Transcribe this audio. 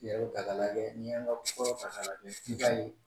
ta ka lajɛ, n'i y' an ka fɔlɔ ta ka lajɛ i b'a ye